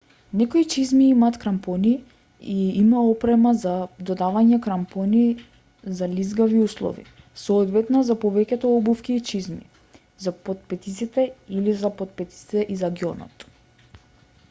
некои чизми имаат крампони и има опрема за додавање крампони за лизгави услови соодветна за повеќето обувки и чизми за потпетиците или и за потпетиците и за ѓонот